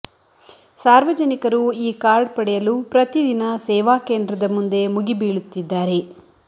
ಸಾರ್ವಜನಿಕರು ಈ ಕಾರ್ಡ್ ಪಡೆಯಲು ಪ್ರತಿ ದಿನ ಸೇವಾ ಕೇಂದ್ರ ಮುಂದೆ ಮುಗಿಬೀಳುತ್ತಿದ್ದಾರೆ